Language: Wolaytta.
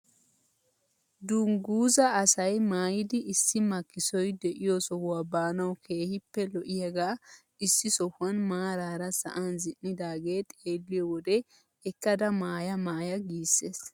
DUnguzaa asay maayidi issi makkisoy de'iyoo sohuwaa baanawu keehippe lo"iyaagaa issi sohuwaan maarara sa'an zin'idagee xeelliyoo wode ekkada maaya maaya giisses.